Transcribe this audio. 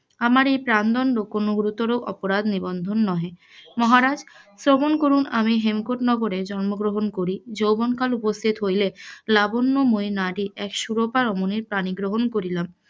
আমার এও প্রান দন্ড কোন গুরুতর অপরাধ নহে, মহারাজ শ্রবণ করুন আমি হেমকূট নগরে জন্ম গ্রহন করি যৌবন কাল উপস্থিত হইলে লাবন্যময়ী নারী এক সুরূপা রমনী পানি গ্রহন করিলাম,